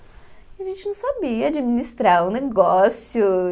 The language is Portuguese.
E a gente não sabia administrar o negócio.